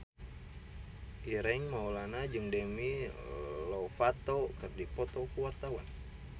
Ireng Maulana jeung Demi Lovato keur dipoto ku wartawan